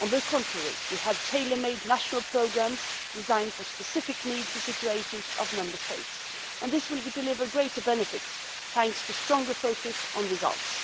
On the contrary, we have tailor made national programmes designed for the specific needs and situations of Member States, and this approach will deliver greater benefits thanks to the stronger focus on results.